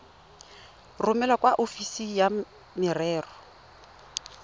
romele kwa ofising ya merero